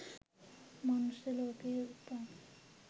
මනුස්ස ලෝකයේ උපන්,